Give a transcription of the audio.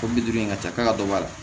Ko bi duuru in ka ca k'a dɔ b'a la